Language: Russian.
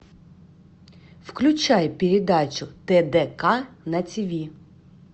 включай передачу тдк на тв